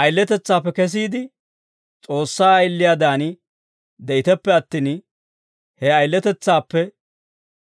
Ayiletetsaappe kesiide, S'oossaa ayiliyaadan de'iteppe attin, he ayiletetsaappe